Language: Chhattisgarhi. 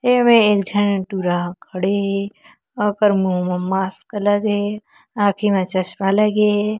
एमे एक झन हे ठुरा ह खड़े हे ओकर मुह मा मास्क लगे हे आँखि मा चस्मा लगे हे।